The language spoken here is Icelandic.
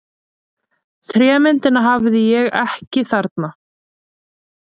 Trémyndina hafði ég ekki þarna.